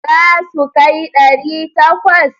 Za su kai ɗari takwas?